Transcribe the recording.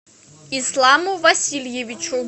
исламу васильевичу